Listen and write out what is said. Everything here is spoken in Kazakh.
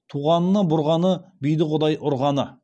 туғанына бұрғаны биді құдай ұрғаны